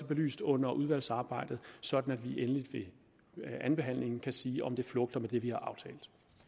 belyst under udvalgsarbejdet sådan at vi endeligt ved andenbehandlingen kan sige om det flugter med det vi har aftalt